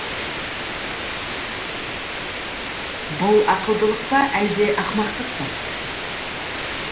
бұл ақылдылық па әлде ақымақтық па